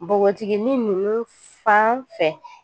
Nbogotikini ninnu fan fɛ